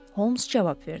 Holms cavab verdi.